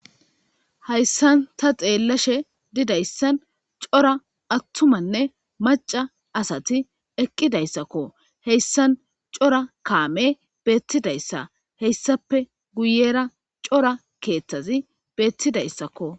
Hayssan ta xeelashe didaysan cora attumanne macca asati eqqidayssako; hessan cora kaamey beetidayssa; hessappe guyera cora keeththazi beetidaysakko.